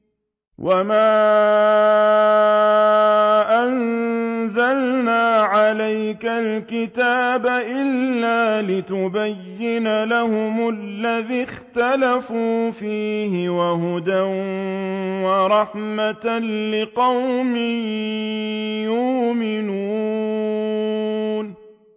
وَمَا أَنزَلْنَا عَلَيْكَ الْكِتَابَ إِلَّا لِتُبَيِّنَ لَهُمُ الَّذِي اخْتَلَفُوا فِيهِ ۙ وَهُدًى وَرَحْمَةً لِّقَوْمٍ يُؤْمِنُونَ